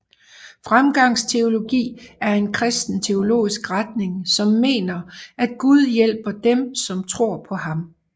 Fremgangsteologi er en kristen teologisk retning som mener at Gud hjælper dem som tror på ham